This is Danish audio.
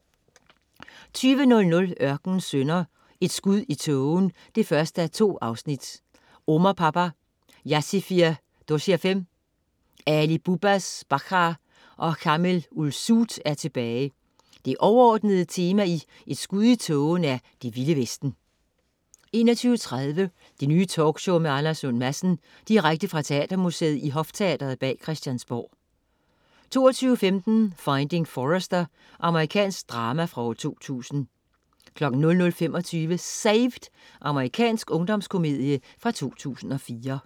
20.00 Ørkenens sønner: Et skud i tågen 1:2. Omar-Papa, Yassirfir Dosirfem, Ali Bubbas Barkhar og Khamel Ull-Zuut er tilbage! Det overordnede tema i "Et Skud i Tågen" er Det Vilde Vesten 21.30 Det Nye Talkshow med Anders Lund Madsen. Direkte fra Teatermuseet i Hofteatret bag Christiansborg 22.15 Finding Forrester. Amerikansk drama fra 2000 00.25 Saved! Amerikansk ungdomskomedie fra 2004